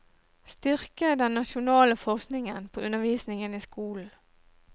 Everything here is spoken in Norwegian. Styrke den nasjonale forskningen på undervisningen i skolen.